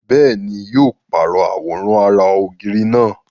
Bẹ́ẹ̀ni, yóò pàrọ̀ àwòrán ara ògiri náà